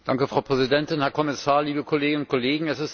Frau Präsidentin, Herr Kommissar, liebe Kolleginnen und Kollegen!